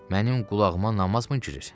Mənim qulağıma namazmı girir?